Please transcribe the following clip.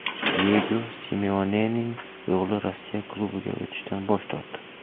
Diyego Simeonening o‘g‘li Rossiya klubiga o‘tishdan bosh tortdi.